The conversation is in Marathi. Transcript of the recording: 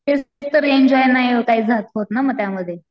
एन्जॉय नाही होत ना मग त्यामध्ये.